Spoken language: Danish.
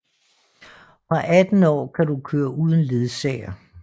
Fra 18 år kan du køre uden ledsager